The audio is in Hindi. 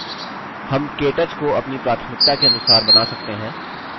हम केटच को अपनी प्राथमिकता के अनुसार बना सकते हैं